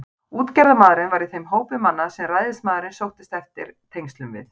Útgerðarmaðurinn var í þeim hópi manna, sem ræðismaðurinn sóttist eftir tengslum við.